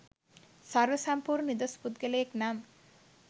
සර්ව සම්පූර්ණ නිදොස් පුද්ගලයෙක් නම්